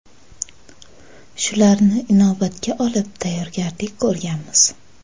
Shularni inobatga olib tayyorgarlik ko‘rganmiz.